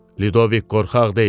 Lidovik qorxaq deyil.